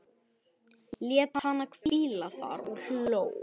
Lét hana hvíla þar og hló.